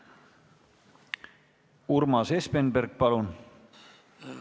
Urmas Espenberg, palun!